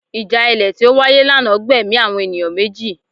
Ìjà ilẹ̀ tí ó wáyé lánàá gbẹ̀mí àwọn ènìyàn méjì